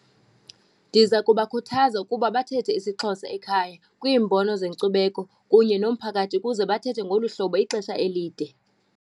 Ndiza kubakhuthaza ukuba bathethe isiXhosa ekhaya kwiimbono zenkcubeko kunye nomphakathi, ukuze bathethe ngolu hlobo ixesha elide.